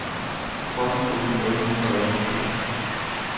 tretten tusind otte hundrede og enogtyve